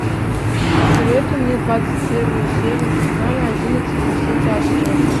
посоветуй мне двадцать первую серию сезона одиннадцать во все тяжкие